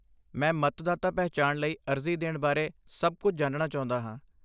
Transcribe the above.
ਮੈਂ ਮਤਦਾਤਾ ਪਹਿਚਾਣ ਲਈ ਅਰਜ਼ੀ ਦੇਣ ਬਾਰੇ ਸਭ ਕੁੱਝ ਜਾਣਨਾ ਚਾਹੁੰਦਾ ਹਾਂ।